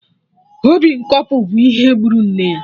Obi nkopu bụ ihe gburu nne ya